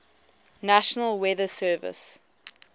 national weather service